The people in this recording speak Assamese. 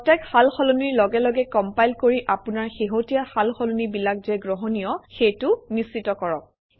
প্ৰত্যেক সাল সলনিৰ লগে লগে কমপাইল কৰি আপোনাৰ শেহতীয়া সাল সলনিবিলাক যে গ্ৰহণীয় সেইটো নিশ্চিত কৰক